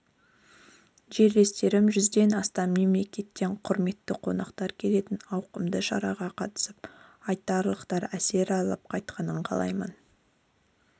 жерлестерім жүзден астам мемлекеттен құрметті қонақтар келетін ауқымды шараға қатысып айтарлықтай әсер алып қайтқанын қалаймын